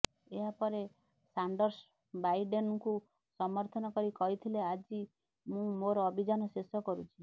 ଏହା ପରେ ସାଣ୍ଡର୍ସ ବାଇଡେନଙ୍କୁ ସମର୍ଥନ କରି କହିଥିଲେ ଆଜି ମୁଁ ମୋର ଅଭିଯାନ ଶେଷ କରୁଛି